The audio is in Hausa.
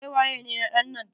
Kai waye ne na ɗan nan?